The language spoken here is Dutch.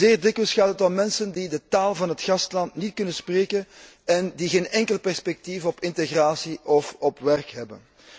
Zeer dikwijls gaat het om mensen die de taal van het gastland niet kunnen spreken en die geen enkel perspectief op integratie of op werk hebben.